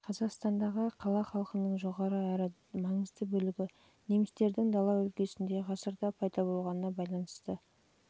қазақстандағы қала халқының жоғары әрі маңызды бөлігі немістердің дала өлкесінде ғасырда пайда болғанына байланысты ал өздерін